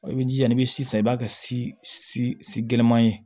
I b'i jija ni sisan i b'a kɛ si si si gɛlɛnman ye